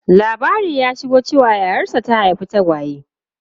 Labari ya shigo cewa yayarsa ta haifi tagwaye.